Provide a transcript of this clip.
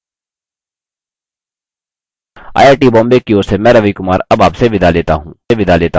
I I T Bombay की ओर से मैं रवि कुमार अब आप से विदा लेता हूँ हमसे जुड़ने के लिए धन्यवाद